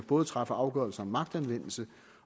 både træffer afgørelse om magtanvendelse